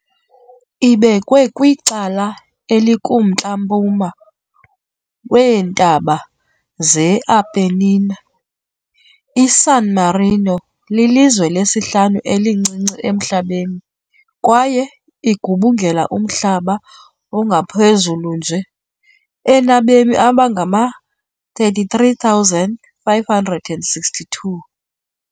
Ibekwe kwicala elikumntla-mpuma weeNtaba ze-Apennine, iSan Marino lilizwe lesihlanu-elincinci emhlabeni kwaye igubungela umhlaba ongaphezulu nje , enabemi abangama-33,562.